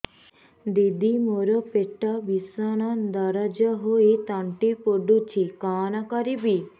ଦିଦି ମୋର ପେଟ ଭୀଷଣ ଦରଜ ହୋଇ ତଣ୍ଟି ପୋଡୁଛି କଣ କରିବି